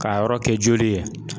K'a yɔrɔ kɛ joli ye